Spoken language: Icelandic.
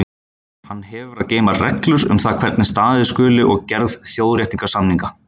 Hann hefur að geyma reglur um það hvernig staðið skuli að gerð þjóðréttarsamninga.